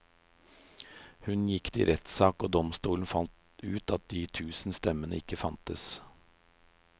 Hun gikk til rettssak og domstolen fant ut at de tusen stemmene ikke fantes.